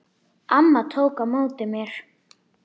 Amma tók á móti mér.